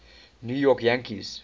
new york yankees